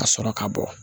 Ka sɔrɔ ka bɔ